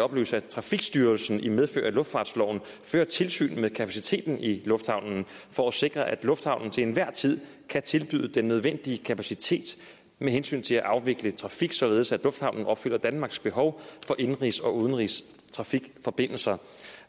oplyse at trafikstyrelsen i medfør af luftfartsloven fører tilsyn med kapaciteten i lufthavnen for at sikre at lufthavnen til enhver tid kan tilbyde den nødvendige kapacitet med hensyn til at afvikle trafik således at lufthavnen opfylder danmarks behov for indenrigs og udenrigstrafikforbindelser